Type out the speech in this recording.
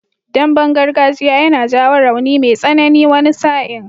Damben gargajiya yana jawo rauni mai tsanani wani sa'in.